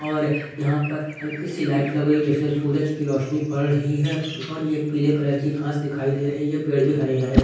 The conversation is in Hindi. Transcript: और यहां पर हल्की सी लाइट लग रही जैसे सूरज की रोशनी पड़ रही है और ये पीले कलर की घास दिखाई दे रही है पेड़ भी हरे हरे--